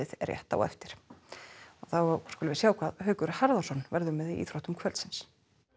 rétt á eftir þá skulum við sjá hvað Haukur Harðarson verður með í íþróttum kvöldsins